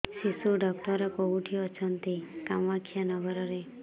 ଶିଶୁ ଡକ୍ଟର କୋଉଠି ଅଛନ୍ତି କାମାକ୍ଷାନଗରରେ